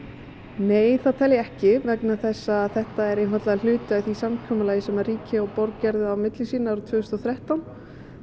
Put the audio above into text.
nei það tel ég ekki vegna þess að þetta er einfaldlega hluti af því samkomulagi sem ríki og borg gerðu á milli sín árið tvö þúsund og þrettán